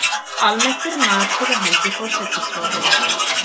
Almennt er matið á hendi forsætisráðherra.